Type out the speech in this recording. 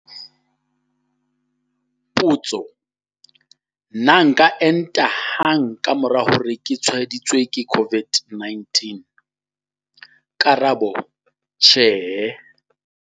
Potso- Na nka enta hang ka mora hore ke tshwaeditswe ke COVID-19? Karabo- Tjhe.